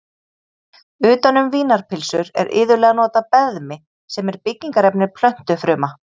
Utan um vínarpylsur er iðulega notað beðmi sem er byggingarefni plöntufruma.